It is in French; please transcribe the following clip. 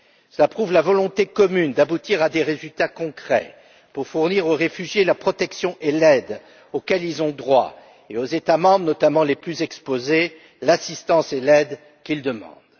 Cela prouve la volonté commune d'aboutir à des résultats concrets pour fournir aux réfugiés la protection et l'aide auxquelles ils ont droit, et aux États membres, notamment les plus exposés, l'assistance et l'aide qu'ils demandent.